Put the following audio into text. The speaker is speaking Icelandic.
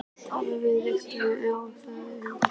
Talið þið við viðkomandi eigendur hundanna?